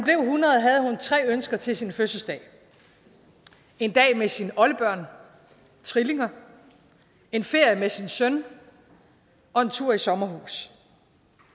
tre ønsker til sin fødselsdag en dag med sine oldebørn trillinger en ferie med sin søn og en tur i sommerhus